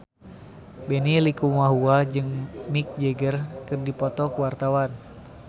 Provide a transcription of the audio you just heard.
Benny Likumahua jeung Mick Jagger keur dipoto ku wartawan